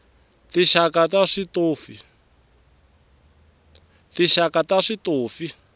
tinxaka ta switofi